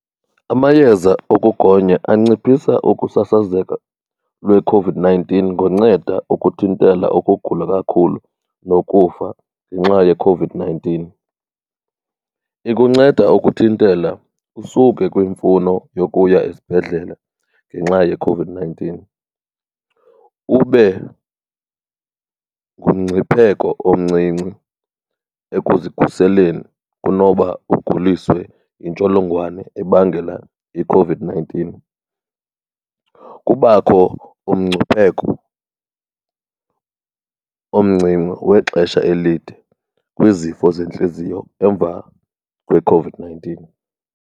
Amayeza okugonya anciphisa ukusasazeka lweCOVID-nineteen ngonceda ukuthintela ukugula kakhulu nokufa ngenxa yeCOVID-nineteen. Ikunceda ukuthintela kusuke kwimfuno yokuya esibhedlele ngenxa yeCOVID-nineteen, ube ngumngcipheko omncinci ekuzikhuseleni kunoba uguliswe yintsholongwane ebangela iCOVID-nineteen. Kubakho umngcipheko omncinci wexesha elide kwizifo zentliziyo emva kweCOVID-nineteen.